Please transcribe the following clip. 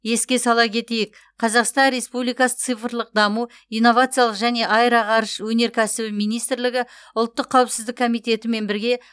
еске сала кетейік қазақстан республикасы цифрлық даму инновациялық және аэроғарыш өнеркәсібі министрлігі ұлттық қауіпсіздік комитетімен бірге